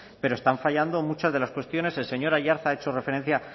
pero están fallando muchas de las cuestiones el señor aiartza ha hecho referencia